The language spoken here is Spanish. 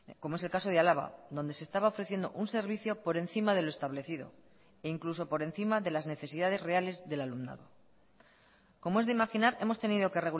como es el caso de álava donde se estaba ofreciendo un servicio por encima de lo establecido e incluso por encima de las necesidades reales del alumnado como es de imaginar hemos tenido que